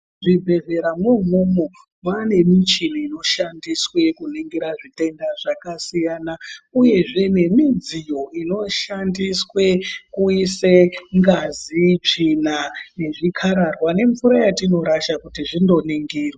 Muzvibhodhleramo umwomwo mwane michini inoshandiswe kuningirwa zvitenda zvakasiyana uyezve nemidziyo inoshandiswe kuiswe ngazi, tsvina nezvikararwa nemvura yetinorasha kuti zvindoningirwa.